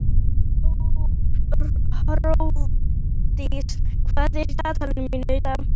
Hrólfdís, hvað er í dagatalinu mínu í dag?